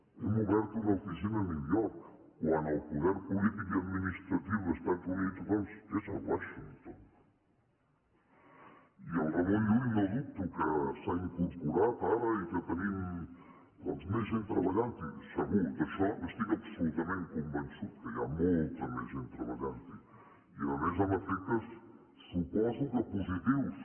hem obert una oficina a new york quan el poder polític i administratiu d’estats units doncs és a washington i el ramon llull no dubto que s’ha incorporat ara i que tenim doncs més gent treballant hi segur d’això n’estic absolutament convençut que hi ha molta més gent treballant hi i a més amb efectes suposo que positius